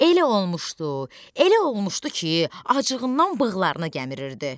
Elə olmuşdu, elə olmuşdu ki, acığından bığlarını gəmirirdi.